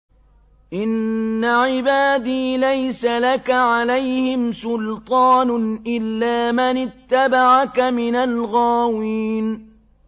إِنَّ عِبَادِي لَيْسَ لَكَ عَلَيْهِمْ سُلْطَانٌ إِلَّا مَنِ اتَّبَعَكَ مِنَ الْغَاوِينَ